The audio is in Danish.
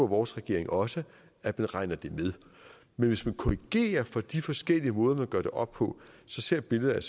vores regering også at man regner det med men hvis vi korrigerer for de forskellige måder man gør det op på så ser billedet